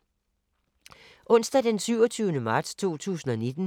Onsdag d. 27. marts 2019